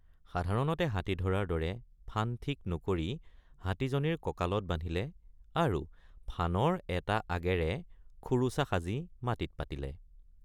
সাধাৰণতে হাতী ধৰাৰ দৰে ফান ঠিক নকৰি হাতীজনীৰ ককালত বান্ধিলে আৰু ফানৰ এটা আগেৰে খোৰোচা সাজি মাটিত পাতিলে।